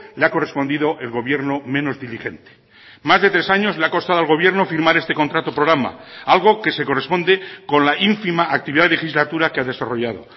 le ha correspondido el gobierno menos diligente más de tres años le ha costado al gobierno firmar este contrato programa algo que se corresponde con la ínfima actividad legislatura que ha desarrollado